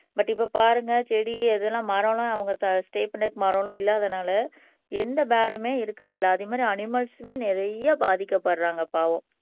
but இப்ப பாருங்க செடி எது எல்லாம் மரம் எல்லாம் அவங்க தா ஸ்டே பண்றதுக்கு மரம் எல்லாம் இல்லாதனால எந்த போர்ட்ஸ்டுமே இருக்கறது இல்லை அதே மாதிரி அணிமல்ஸ்மே நிறைய பாதிக்கப்படறாங்க பாவம்